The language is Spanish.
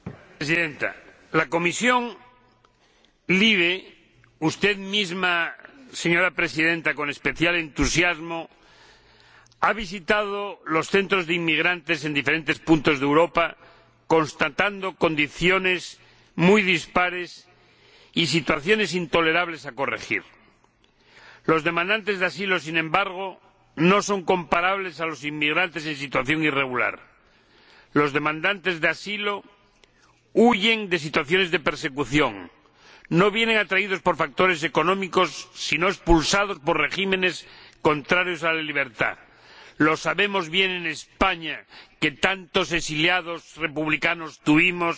Señora Presidenta, la Comisión de Libertades Civiles, Justicia y Asuntos de Interior —y usted misma, señora Presidenta, con especial entusiasmo— ha visitado los centros de inmigrantes en diferentes puntos de Europa, constatando condiciones muy dispares y situaciones intolerables que hay que corregir. Los demandantes de asilo, sin embargo, no son comparables a los inmigrantes en situación irregular. Los demandantes de asilo huyen de situaciones de persecución no vienen atraídos por factores económicos, sino expulsados por regímenes contrarios a la libertad. Lo sabemos bien los españoles, que tantos exiliados republicanos tuvimos